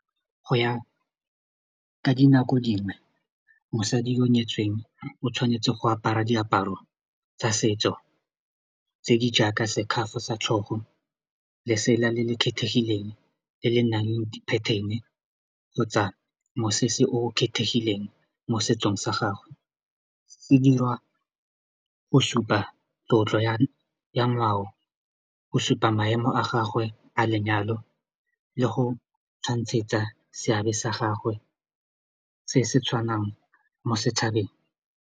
Go ya ka dinako dingwe mosadi yo nyetsweng o tshwanetse go apara diaparo tsa setso tse di jaaka scaff-o sa tlhogo lesela le le kgethegileng le le nang le di-pattern kgotsa mosese o kgethegileng mo setsong sa gagwe se dirwa go supa tlotlo ya ngwao go supa maemo a gagwe a lenyalo le go tshwantshetsang seabe sa gagwe se se tshwanang mo setšhabeng.